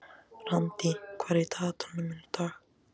Randý, hvað er á dagatalinu í dag?